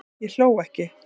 Ég hló ekki